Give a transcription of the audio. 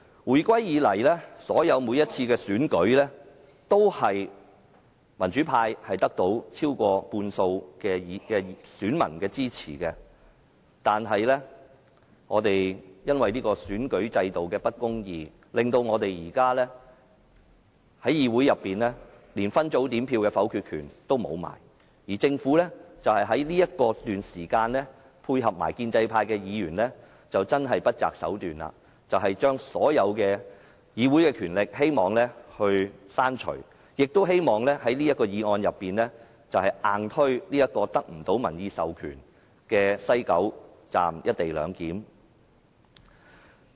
回歸以來，每次的選舉都是民主派得到超過半數選民的支持，但由於選舉制度的不公義，令我們現時連分組點票的否決權也失去，而政府卻在這段時間配合建制派議員，不擇手段地要將議會所有權力刪除，亦希望透過這項議案硬推得不到民意授權的西九龍站"一地兩檢"安排。